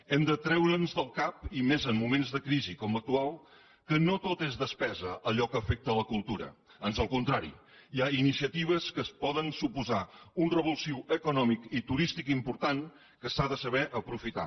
hem de treure’ns del cap i més en moments de crisi com l’actual que no tot és despesa allò que afecta la cultura ans al contrari hi ha iniciatives que poden suposar un revulsiu econòmic i turístic important que s’ha de saber aprofitar